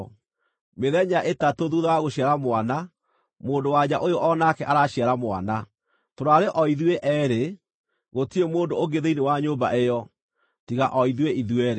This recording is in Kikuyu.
Mĩthenya ĩtatũ thuutha wa gũciara mwana, mũndũ-wa-nja ũyũ o nake araciara mwana. Tũraarĩ o ithuĩ eerĩ; gũtirarĩ mũndũ ũngĩ thĩinĩ wa nyũmba ĩyo, tiga o ithuĩ ithuerĩ.